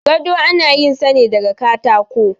gado ana yin sa daga katako